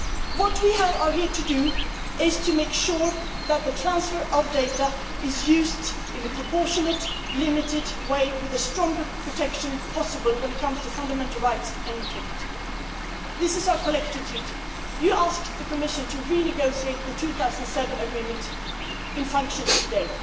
What we are here to do is to make sure that the transfer of data is used in a proportionate, limited way, with the strongest protection possible when it comes to fundamental rights and integrity. This is our collective duty. You asked the Commission to renegotiate the 2007 Agreement in force